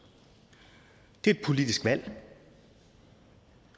det er et politisk valg